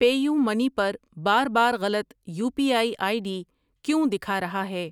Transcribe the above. Pay you money پر بار بار غلط U P I I D کیوں دکھا رہا ہے؟